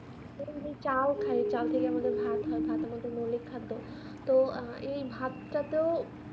যদি চালও খাই চাল থেকে আমাদের ভাত হয় ভাত হলো একটি মৌলিক খাদ্য এই ভাত টা তো